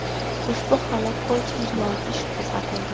Ushbu holat bo‘yicha jinoiy ish qo‘zg‘atildi.